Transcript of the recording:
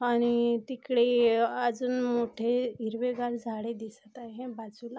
आणि तिकडे अजून मोठे हिरवे गार झाडे दिसत आहे बाजूला--